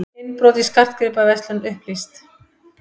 Innbrot í skartgripaverslun upplýst